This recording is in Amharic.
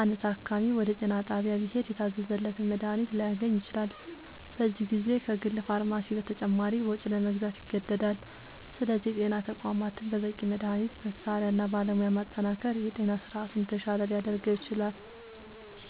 አንድ ታካሚ ወደ ጤና ጣቢያ ቢሄድ የታዘዘለትን መድኃኒት ላያገኝ ይችላል፤ በዚህ ጊዜ ከግል ፋርማሲ በተጨማሪ ወጪ ለመግዛት ይገደዳል። ስለዚህ የጤና ተቋማትን በበቂ መድኃኒት፣ መሣሪያ እና ባለሙያ ማጠናከር የጤና ስርዓቱን የተሻለ ሊያደርገው ይችላል።